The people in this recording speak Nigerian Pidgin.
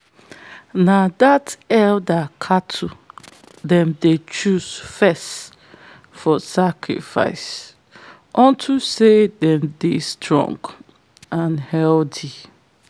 na that elder cattle them dey choose first for sacrifice onto say them dey strong and healthy.